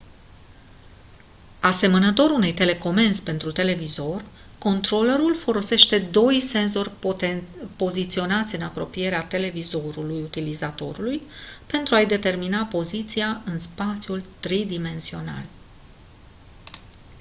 asemănător unei telecomenzi pentru televizor controlerul folosește doi senzori poziționați în apropierea televizorului utilizatorului pentru a-i determina poziția în spațiul tridimensional